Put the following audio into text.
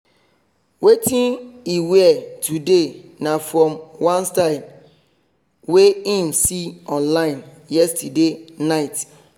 wetin he wear today na from one style wey him see online yesterday night.